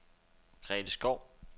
Grete Schou